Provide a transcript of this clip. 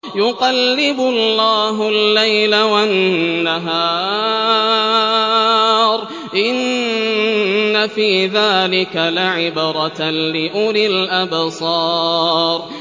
يُقَلِّبُ اللَّهُ اللَّيْلَ وَالنَّهَارَ ۚ إِنَّ فِي ذَٰلِكَ لَعِبْرَةً لِّأُولِي الْأَبْصَارِ